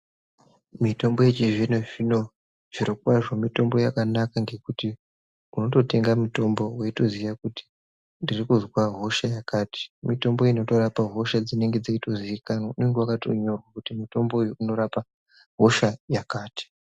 Mitombo yechizvino-zvino zvirokwazvo mitombo yakanaka ngekuti unototenga mutombo weitoziya kuti ndirikuzwa hosha yakati. Mitombo inotorapa hosha dzinenge dzeitoziikanwa. Unenge wakatonyorwa kuti mutombo uyu unorapa hosha yakati.